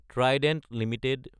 Trident Ltd